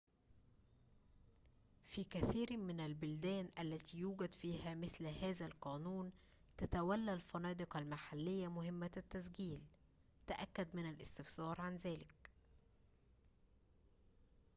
في كثيرٍ من البلدان التي يوجد فيها مثل هذا القانون، تتولّى الفنادق المحلية مهمّة التسجيل تأكد من الاستفسار عن ذلك